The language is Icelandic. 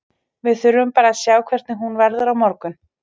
Við þurfum bara að sjá hvernig hún verður á morgun.